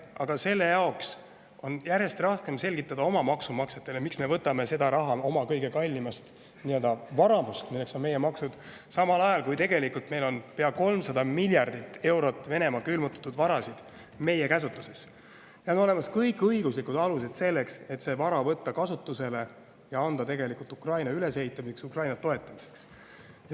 Aga seda on järjest raskem selgitada oma maksumaksjatele, miks me võtame raha oma kõige kallimast varamust, milleks on meie maksud, samal ajal kui pea 300 miljardi euro väärtuses Venemaa külmutatud varasid on meie käsutuses ja on olemas kõik õiguslikud alused selleks, et see vara võtta kasutusele ja anda Ukraina ülesehitamiseks, Ukraina toetamiseks.